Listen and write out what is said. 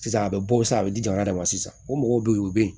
Sisan a bɛ bɔ sisan a bɛ di jamana de ma sisan o mɔgɔw bɛ yen o bɛ yen